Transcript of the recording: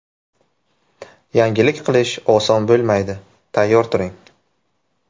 Yangilik qilish oson bo‘lmaydi, tayyor turing.